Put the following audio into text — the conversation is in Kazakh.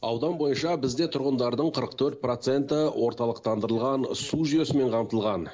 аудан бойынша бізде тұрғындардың қырық төрт проценті орталықтандырылған су жүйесімен қамтылған